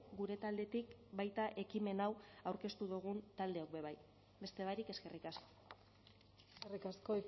gure taldetik baita ekimen hau aurkeztu dugun taldeok be bai beste barik eskerrik asko eskerrik asko